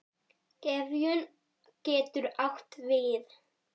Gefjun getur átt við